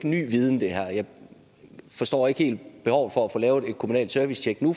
ny viden jeg forstår ikke helt behovet for at få lavet et kommunalt servicetjek nu